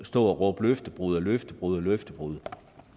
stå og råbe løftebrud løftebrud løftebrud